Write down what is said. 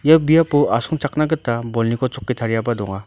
ia biapo asongchakna gita bolniko tariaba donga.